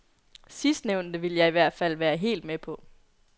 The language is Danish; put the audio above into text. Sidstnævnte ville jeg i hvert fald være helt med på.